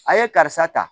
A ye karisa ta